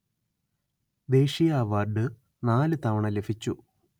ദേശീയ അവാര്‍ഡ് നാലു തവണ ലഭിച്ചു